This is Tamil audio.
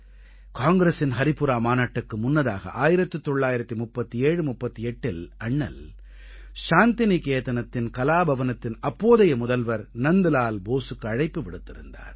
காங்கிரஸின் ஹரிபுரா மாநாட்டுக்கு முன்னதாக 193738இல் அண்ணல் சாந்திநிகேதனத்தின் கலா பவனத்தின் அப்போதைய முதல்வர் நந்த்லால் போஸுக்கு அழைப்பு விடுத்திருந்தார்